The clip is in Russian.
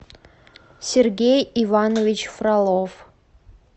сергей иванович фролов